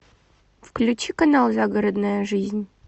включи канал загородная жизнь